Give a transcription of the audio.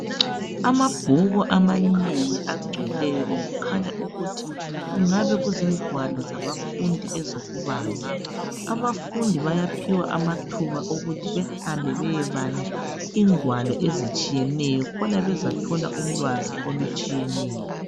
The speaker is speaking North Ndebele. Amabhuku amanengi agcweleyo okukhanya ukuthi kungabe kuzingwalo zabafundi ezokubala .Abafundi bayaphiwa amathuba ukuthi bahambe beyebala ingwalo ezitshiyeneyo khona bezathola ulwazi olutshiyeneyo.